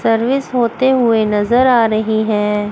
Service होते हुए नजर आ रही है।